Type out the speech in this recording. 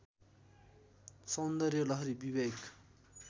सौन्दर्य लहरी विवेक